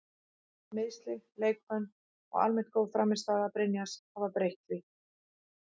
Meiðsli, leikbönn og almennt góð frammistaða Brynjars hafa breytt því.